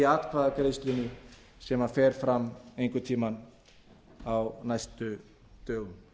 atkvæðagreiðslunni sem fer fram einhvern tíma á næstu dögum